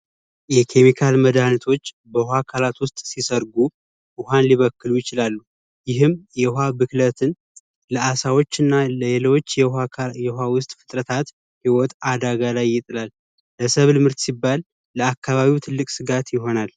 የኬሚካል መዳኒቶች በውሃ አካላት ውስጥ ሊሰርጉ ይችላሉ ይህም የውሃ ብክለትን ለአሳዎች እና ሌሎች የውሃ ውስጥ ሂወት አደጋ ላይ ይጥላል። ለሰብል ሲባል ለአካባቢው ትልቅ ስጋት ይሆናል።